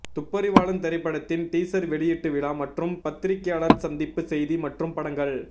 துப்பறிவாளன் திரைப்படத்தின் டீசர் வெளியீட்டு விழா மற்றும் பத்திரிக்கையாளர் சந்திப்பு செய்தி மற்றும் படங்கள்